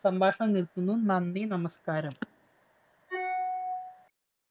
സംഭാഷണം നിര്‍ത്തുന്നു. നന്ദി, നമസ്കാരം.